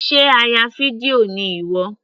Sé a ya fídíò ni ìwọ.